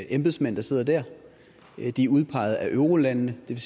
embedsmænd der sidder der de er udpeget af eurolandene og det